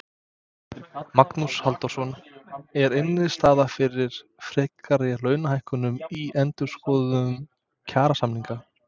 Magnús Halldórsson: Er innstaða fyrir frekari launahækkunum í endurskoðun kjarasamninga?